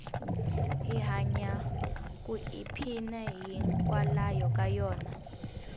hi hanya ku i phina yi nkwalayo ka yona